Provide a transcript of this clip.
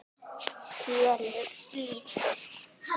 Kelur lítið.